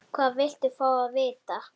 Hvað viltu fá að vita?